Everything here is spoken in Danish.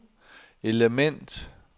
element